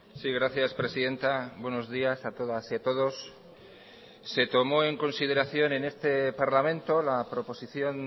sí gracias presidenta buenos días a todas y a todos se tomó en consideración en este parlamento la proposición